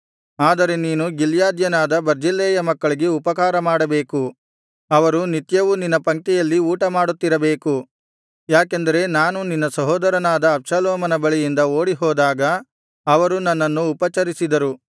ಆದರೆ ನೀನು ಗಿಲ್ಯಾದ್ಯನಾದ ಬರ್ಜಿಲ್ಲೈಯ ಮಕ್ಕಳಿಗೆ ಉಪಕಾರಮಾಡಬೇಕು ಅವರು ನಿತ್ಯವೂ ನಿನ್ನ ಪಂಕ್ತಿಯಲ್ಲಿ ಊಟಮಾಡುತ್ತಿರಬೇಕು ಯಾಕೆಂದರೆ ನಾನು ನಿನ್ನ ಸಹೋದರನಾದ ಅಬ್ಷಾಲೋಮನ ಬಳಿಯಿಂದ ಓಡಿಹೋದಾಗ ಅವರು ನನ್ನನ್ನು ಉಪಚರಿಸಿದರು